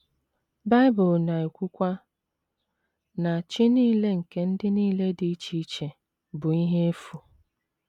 Bible na - ekwukwa na “ chi nile nke ndị nile dị iche iche bụ ihe efu. ”